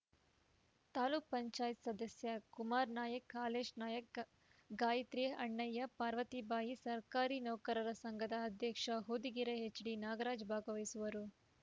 ತಾಲೂಕ್ ಪಂಚಾಯತ್ ಸದಸ್ಯ ಕುಮಾರ ನಾಯ್ಕ ಹಾಲೇಶ್‌ ನಾಯ್ಕ ಗಾಯತ್ರಿ ಅಣ್ಣಯ್ಯ ಪಾರ್ವತಿಬಾಯಿ ಸರ್ಕಾರಿ ನೌಕರರ ಸಂಘದ ಅಧ್ಯಕ್ಷ ಹೊದಿಗೆರೆ ಎಚ್‌ಡಿನಾಗರಾಜ್‌ ಭಾಗವಹಿಸುವರು